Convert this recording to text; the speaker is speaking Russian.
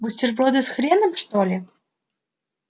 бутерброды с хреном что ли